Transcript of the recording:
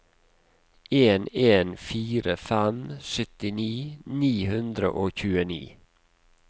en en fire fem syttini ni hundre og tjueni